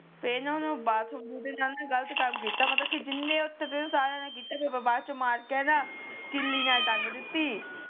ਤੇ ਨਾ ਓਹਨੂੰ ਬਾਥਰੂਮ ਦੇ ਨਾਲ ਨਾ ਗਲਤ ਕੰਮ ਮਤਲੱਬ ਕ ਜਿੰਨੇ ਉਥੇ ਸੀ ਨਾ ਸਾਰੀਆਂ ਨੇ ਕੀਤਾ ਤੇ ਬਾਅਦ ਚ ਮਾਰ ਕ ਨਾ ਕਿੱਲੀ ਨਾਲ ਤੰਗ ਦਿੱਤੀ